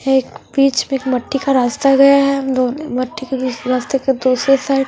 एकबीच मट्टी का रस्ता गया है हम दो उस माटी के रस्ते के दूसरी साइड --